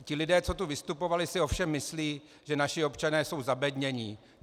Ti lidé, co tu vystupovali, si ovšem myslí, že naši občané jsou zabednění.